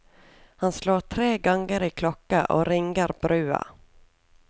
Han slår tre ganger i klokka og ringer brua.